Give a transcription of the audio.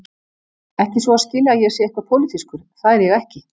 Ekki svo að skilja að ég sé eitthvað pólitískur, það er ég ekki.